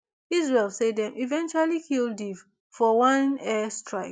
israel say dem eventually kill deif for one air strike